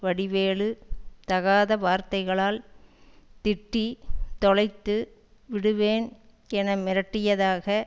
வடிவேலு தகாதவார்த்தகளால் திட்டி தொலைத்து விடுவேன் என மிரட்டியதாக